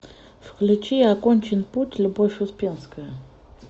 включи окончен путь любовь успенская